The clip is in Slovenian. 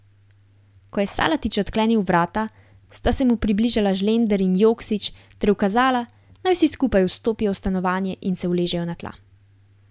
Ko je Salatić odklenil vrata, sta se mu približala Žlender in Joksić ter ukazala, naj vsi skupaj vstopijo v stanovanje in se uležejo na tla.